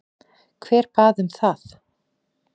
Hver bað um það?